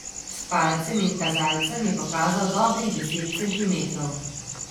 S palcem in kazalcem je pokazal dobrih deset centimetrov.